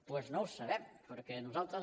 doncs no ho sabem perquè nosaltres